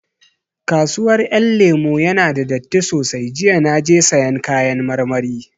Kasuwar Ƴan Lemu ya na da datti sosai, jiya na je sayan kayan marmari